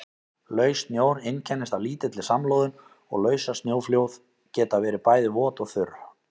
Laus snjór einkennist af lítilli samloðun og lausasnjóflóð geta verið bæði vot og þurr.